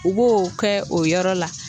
U b'o kɛ o yɔrɔ la